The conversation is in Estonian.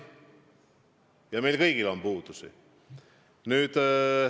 Ja meil kõigil on puudusi.